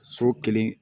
So kelen